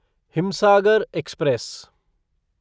Himsagar express